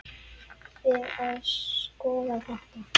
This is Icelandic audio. Við að skoða þetta.